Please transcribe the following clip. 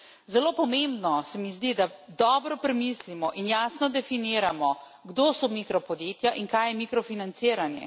Zelo pomembno se mi zdi, da dobro premislimo in jasno definiramo, kdo so mikropodjetja in kaj je mikrofinanciranje.